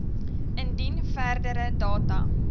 indien verdere data